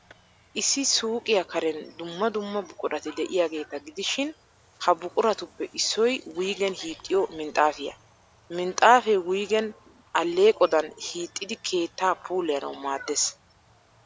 Issi suuqiyaa karen dumma dumma buqurati de'iyaageeta gidishin, ha buquratuppe issoy wuygen hiixxiyoo minxxaafiyaa. Minxxaafee wuygen alleeqodan hiixxidi keettaa puulayanawu maaddees.